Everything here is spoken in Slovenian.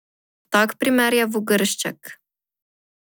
Tak primer je Vogršček.